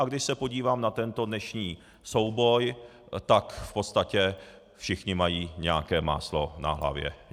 A když se podívám na tento dnešní souboj, tak v podstatě všichni mají nějaké máslo na hlavě.